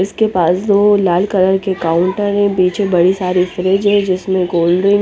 इसके पास जो लाल कलर की काउट है और पीछे बड़ी सारी फ्रीज़ है जिसमे --